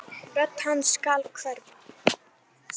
Rödd hans skal hverfa.